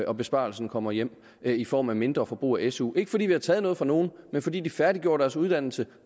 og besparelsen kommer hjem i form af mindre forbrug af su ikke fordi vi har taget noget fra nogen men fordi de færdiggør deres uddannelse